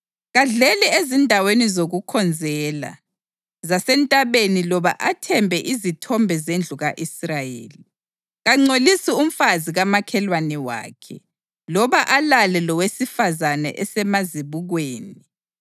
Kadleli ezindaweni zokukhonzela zasentabeni loba athembe izithombe zendlu ka-Israyeli. Kangcolisi umfazi kamakhelwane wakhe loba alale lowesifazane esemazibukweni.